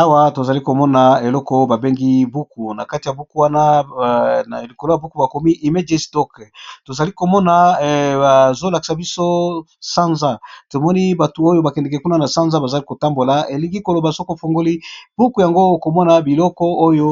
Awa tozali komona eloko ba bengi ezali buku najati ya buki Wana bakomi image doc tozali komona bazo lakisa viso eza sana sikoyo Siku ofungoli tango okomona biliko Oyo